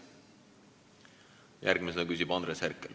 Järgmisena küsib Andres Herkel.